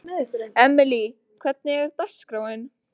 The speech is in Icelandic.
Emely, hvernig er dagskráin?